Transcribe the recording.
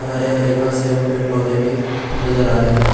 हरे हरे घास एवं पेड़ पौधे भी नजर आ रहे हैं।